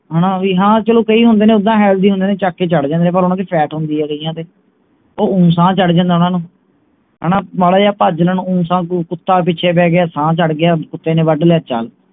ਹਣਾ ਵੀ ਚਲੋਂ ਕਈ ਹੁੰਦੇ ਨੇ ਉੱਦਾਂ healthy ਹੁੰਦੇ ਨੇ ਚੁੱਕ ਕੇ ਚੜ੍ਹ ਜਾਂਦੇ ਨੇ ਪਰ ਓਹਨਾ ਦੀ fat ਹੁੰਦੀ ਹੈ ਕਇਆਂ ਦੇ ਉਹ ਊਂ ਸਾਹ ਚੜ੍ਹ ਜਾਂਦੇ ਓਹਨਾ ਨੂੰ ਹਣਾ ਮਾੜਾ ਜਿਹਾ ਭੱਜ ਲੈਣ ਊਂ ਸਾਹ ਕੋਈ ਕੁੱਤਾ ਪਿਛੇ ਪੈ ਗਿਆ ਸਾਹ ਚੜ੍ਹ ਗਿਆ ਕੁੱਤੇ ਨੇ ਵੱਡ ਲਿਆ ਚੱਲ